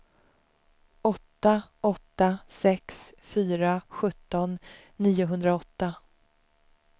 åtta åtta sex fyra sjutton niohundraåtta